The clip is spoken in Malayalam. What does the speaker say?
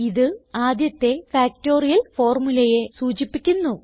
ഇത് ആദ്യത്തെ ഫാക്ടറിയൽ ഫോർമുലയെ സൂചിപ്പിക്കുന്നു